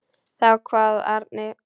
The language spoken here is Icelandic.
Þá kvað Árni: